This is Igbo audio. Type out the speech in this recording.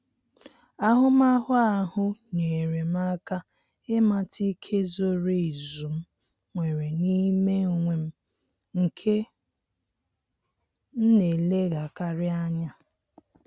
Ahụmahụ ahụ nyere m aka ịmata ike zoro ezu m nwere n'ime onwe m nke m na eleghakari anya